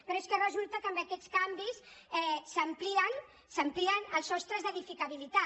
però és que resulta que amb aquests canvis s’amplien els sostres d’edificabilitat